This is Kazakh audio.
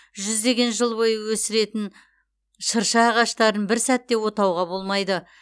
жүздеген жыл бойы өсіретін шырша ағаштарын бір сәтте отауға болмайды